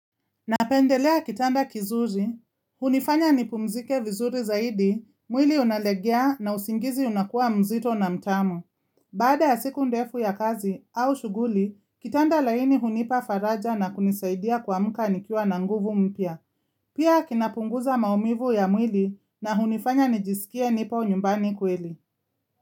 Napendelea kitanda kizuri, hunifanya nipumzike vizuri zaidi, mwili unalegea na usingizi unakuwa mzito na mtamu. Baada ya siku ndefu ya kazi au shughuli, kitanda laini hunipa faraja na kunisaidia kuamka nikiwa na nguvu mpya Pia kinapunguza maumivu ya mwili na hunifanya nijisikie nipo nyumbani kweli.